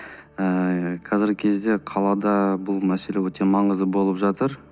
ыыы қазіргі кезде қалада бұл мәселе өте маңызды болып жатыр